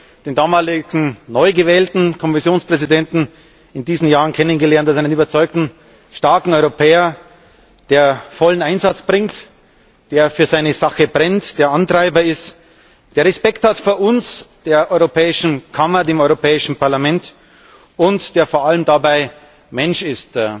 Ich habe den damaligen neugewählten Kommissionspräsidenten in diesen Jahren als einen überzeugten, starken Europäer kennengelernt, der vollen Einsatz bringt, der für seine Sache brennt, der Antreiber ist, der Respekt hat vor uns, der Europäischen Kammer, dem Europäischen Parlament, und der vor allem dabei Mensch ist,